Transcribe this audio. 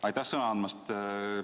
Aitäh sõna andmast!